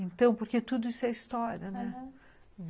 Então, porque tudo isso é história, né? aham